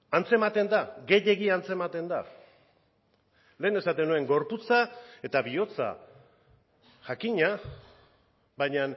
antzematen da gehiegi antzematen da lehen esaten nuen gorputza eta bihotza jakina baina